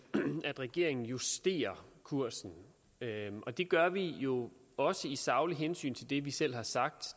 at regeringen justerer kursen og det gør vi jo også i sagligt hensyn til det vi selv har sagt